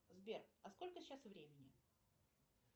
сбер а сколько сейчас времени